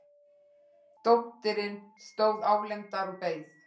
Dóttirin stóð álengdar og beið.